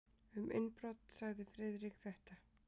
Um innbrot sagði Friðrik þetta: